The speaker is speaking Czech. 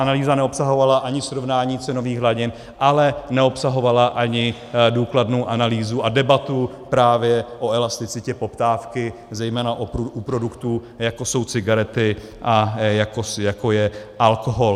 Analýza neobsahovala ani srovnání cenových hladin, ale neobsahovala ani důkladnou analýzu a debatu právě o elasticitě poptávky, zejména u produktů, jako jsou cigarety a jako je alkohol.